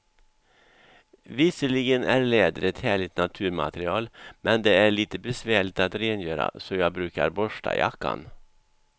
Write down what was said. Visserligen är läder ett härligt naturmaterial, men det är lite besvärligt att rengöra, så jag brukar borsta jackan.